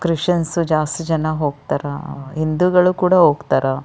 Christians ಜಾಸ್ತಿ ಜನ ಹೋಗ್ತಾರಾ ಹಿಂದೂಗಳು ಕೂಡ ಹೋಗ್ತಾರಾ.